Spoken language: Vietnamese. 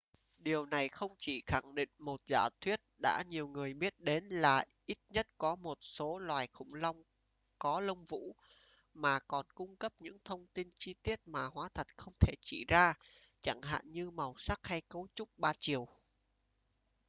điều này không chỉ khẳng định một giả thuyết đã nhiều người biết đến là ít nhất có một số loài khủng long có lông vũ mà còn cung cấp những thông tin chi tiết mà hóa thạch không thể chỉ ra chẳng hạn như màu sắc hay cấu trúc 3 chiều